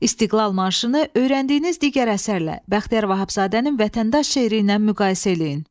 İstiqlal marşını öyrəndiyiniz digər əsərlə, Bəxtiyar Vahabzadənin Vətəndaş şeiri ilə müqayisə eləyin.